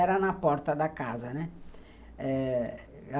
Era na porta da casa, né? eh...